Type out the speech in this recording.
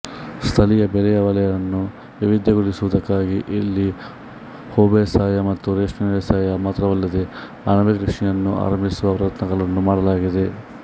ಸ್ಥಳೀಯ ಬೆಳೆಯ ವಲಯವನ್ನು ವೈವಿಧ್ಯಗೊಳಿಸುವುದಕ್ಕಾಗಿ ಇಲ್ಲಿ ಹೂಬೇಸಾಯ ಮತ್ತು ರೇಷ್ಮೆ ವ್ಯವಸಾಯ ಮಾತ್ರವಲ್ಲದೆ ಅಣಬೆ ಕೃಷಿಯನ್ನೂ ಆರಂಭಿಸುವ ಪ್ರಯತ್ನಗಳನ್ನು ಮಾಡಲಾಗಿದೆ